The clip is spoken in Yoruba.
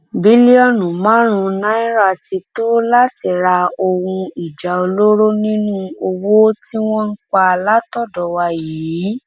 bílíọnù márùnún náírà ti tó láti ra ohun ìjà olóró nínú owó tí wọn ń pa látọdọ wa yìí